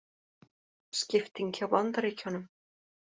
Skipting hjá Bandaríkjunum